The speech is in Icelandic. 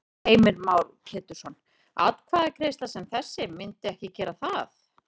Heimir Már Pétursson: Atkvæðagreiðsla sem þessi myndi ekki gera það?